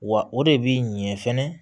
Wa o de bi ɲɛ fɛnɛ